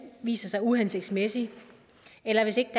viser sig uhensigtsmæssig eller hvis ikke